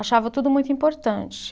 Achava tudo muito importante.